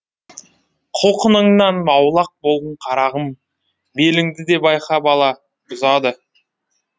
құлқыныңнан аулақ бол қарағым беліңді де байқа бала бұзады